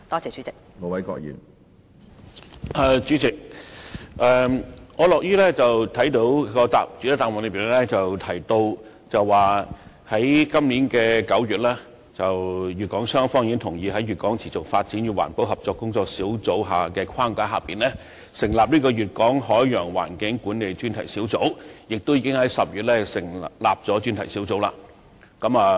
主席，我樂於看到主體答覆中提及，粵港雙方於2016年9月同意在粵港持續發展與環保合作工作小組的框架下成立粵港海洋環境管理專題小組，而該專題小組亦已在10月正式成立。